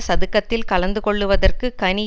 சதுக்கத்தில் கலந்து கொள்ளுவதற்கு கனி